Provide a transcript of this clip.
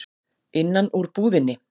Innan úr íbúðinni.